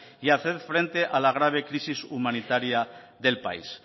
y hacer frente a la grave crisis humanitaria del país